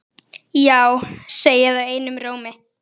Já segja þau einum rómi.